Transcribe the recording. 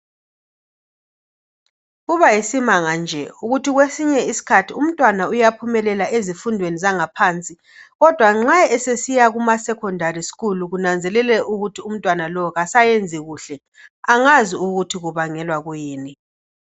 Kubayisimanga nje ukuthi kwesinye isikhathi umntwana uyaphumelela ezifundweni zangaphansi kodwa nxa esesiya kuma secondary school ngikunanzelele ukuthi umntwana lo kasayenzi kuhle. Angazi ukuthi kubangelwa kuyini.